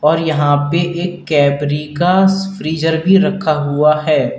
और यहां पे एक कैबरी का स फ्रीजर भी रखा हुआ है।